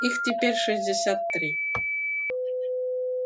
их теперь шестьдесят три